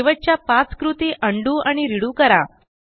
शेवटच्या पाच कृती उंडो आणि रेडो करा